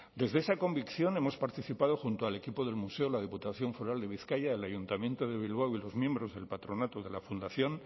desde esa convicción hemos participado junto al equipo del museo la diputación foral de bizkaia el ayuntamiento de bilbao y los miembros del patronato de la fundación